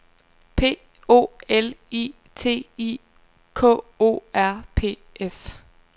P O L I T I K O R P S